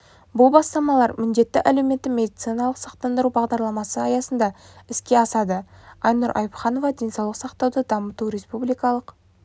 бұл бастамалар міндетті әлеуметті медициналық сақтандыру бағдарламасы аясында іске асады айнұр айыпханова денсаулық сақтауды дамыту республикалық